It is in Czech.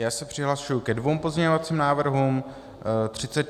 Já se přihlašuji ke dvěma pozměňovacím návrhům.